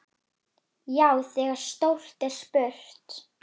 Já, þegar stórt er spurt.